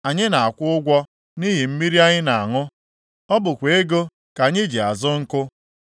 Anyị na-akwụ ụgwọ nʼihi mmiri anyị na-aṅụ. Ọ bụkwa ego ka anyị ji azụ nkụ.